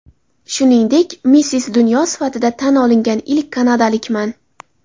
Shuningdek, ‘Missis Dunyo‘ sifatida tan olingan ilk kanadalikman.